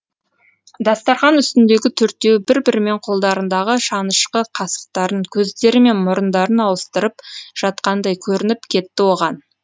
дастархан үстіндегі төртеуі бір бірімен қолдарындағы шанышқы қасықтарын көздері мен мұрындарын ауыстырып жатқандай көрініп кетті оған